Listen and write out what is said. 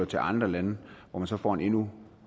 til andre lande hvor man så får en endnu